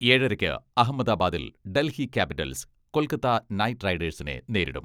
ഏഴരക്ക് അഹമ്മദാബാദിൽ Delhi Capitals Kolkata Knight റൈഡേഴ്സിനെ നേരിടും.